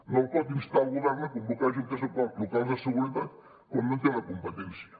no pot instar el govern a convocar juntes locals de seguretat quan no en té la competència